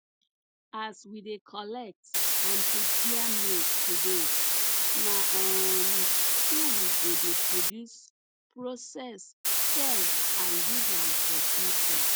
as we dey collect and prepare milk today na um so we go dey produce process sell and use am for future